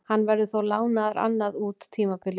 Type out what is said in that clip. Hann verður þó lánaður annað út tímabilið.